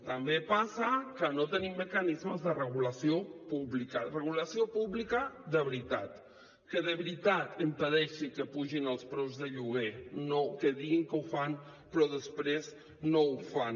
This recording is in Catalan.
també passa que no tenim mecanismes de regulació pública regulació pública de veritat que de veritat impedeixi que pugin els preus de lloguer no que diguin que ho fan però després no ho fan